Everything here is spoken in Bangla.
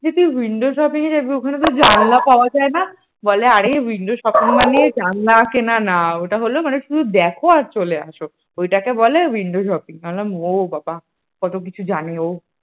যে তুই windows shopping যাবি ওখানে যে জানলা পাওয়া যায় না? বলে আরে windows shopping মানে জানলা কেনা না মানে ওটা হল শুধু দেখো আর চলে আসো। ওইটাকে বলে windows shopping আমি বললাম ও বাবা । কত কিছু জানে ও